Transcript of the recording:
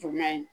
Jumɛn ye